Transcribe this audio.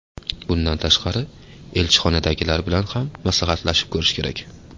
Bundan tashqari elchixonadagilar bilan ham maslahatlashib ko‘rish kerak.